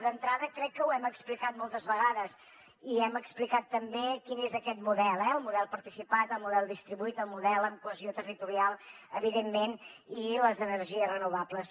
d’entrada crec que ho hem explicat moltes vegades i hem explicat també quin és aquest model eh el model participat el model distribuït el model amb cohesió territorial evidentment i les energies renovables